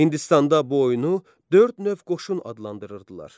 Hindistanda oyunu dörd növ qoşun adlandırırdılar.